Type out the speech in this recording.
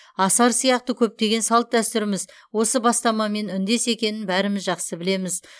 асар сияқты көптеген салт дәстүріміз осы бастамамен үндес екенін бәріміз жақсы білеміз